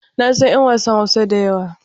Na san 'yan wasan Hausa da yawa.